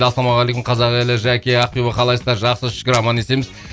ассалаумағалейкум қазақ елі жәке ақтөбе қалайсыздар жақсы шүкір аман есенбіз